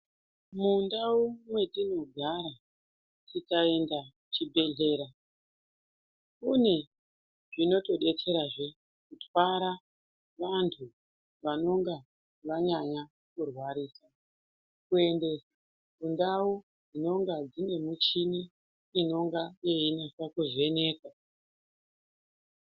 Mundau mwetinogara tikaenda kuchibhedhlera kune zvinotodetserazve kutwara vantu vanonga vanyanya kurwarisa kuende kundau dzinenge dzine muchini inonga yeinasa kuvheneka.